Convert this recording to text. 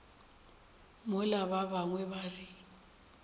mola ba bangwe ba re